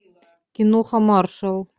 киноха маршал